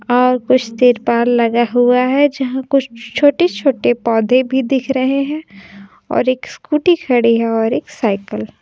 और कुछ तिरपाल लगा हुआ है जहां कुछ छोटे-छोटे पौधे भी दिख रहे हैं और एक स्कूटी खड़ी है और एक साइकल ।